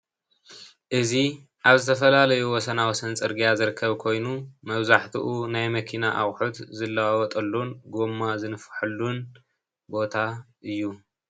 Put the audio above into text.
እዚ ኣብ ዝተፈላለዩ ወሰናወሰን ፅርግያ ዝርከብ ኮይኑ መብዛሕትኡ ናይ መኪና ኣቅሑት ዝለዋወጠሉን ጎማ ዝንፈሐሉን ቦታ እዩ፡፡